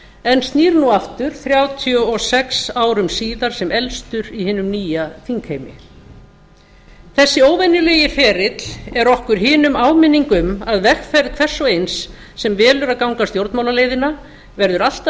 en snýr nú aftur þrjátíu og sex árum síðar sem elstur í hinum nýja þingheimi þessi óvenjulegi ferill er okkur hinum áminning um að vegferð hvers og eins sem velur að ganga stjórnmálaleiðina verður alltaf